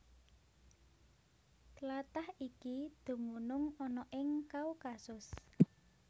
Tlatah iki dumunung ana ing Kaukasus